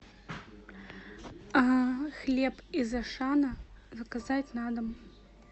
хлеб из ашана заказать на дом